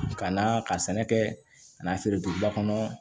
Ka na ka sɛnɛ kɛ ka n'a feere duguba kɔnɔ